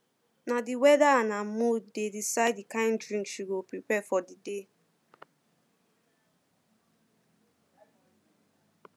na the weather and her mood dey decide the kind drink she go prepare for the day